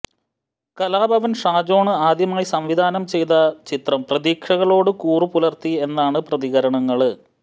കലാഭവന് ഷാജോണ് ആദ്യമായി സംവിധാനം ചെയ്ത ചിത്രം പ്രതീക്ഷകളോട് കൂറു പുലര്ത്തി എന്നാണ് പ്രതികരണങ്ങള്